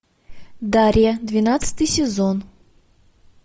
дарья двенадцатый сезон